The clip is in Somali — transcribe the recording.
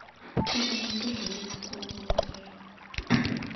fadlan bixi liiska ugu horeeya